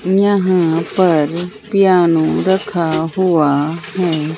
यहां पर पियानो रखा हुआ है।